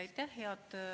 Aitäh, hea eesistuja!